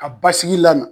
Ka basigi la